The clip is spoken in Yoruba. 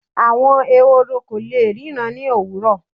àwọn Ehoro ko le ríran ni owurọ